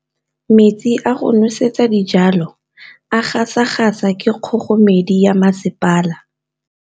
Metsi a go nosetsa dijalo a gasa gasa ke kgogomedi ya masepala.